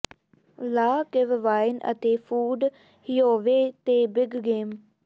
ਲਾ ਕਿਵ ਵਾਈਨ ਅਤੇ ਫੂਡ ਹਿਅਓਵੇਅ ਤੇ ਬਿਗ ਗੇਮ